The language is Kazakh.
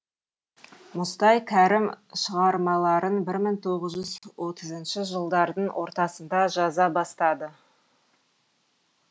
мұстай кәрім шығармаларын бір мың тоғыз жүз отызыншы жылдардың ортасында жаза бастады